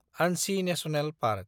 आनसि national park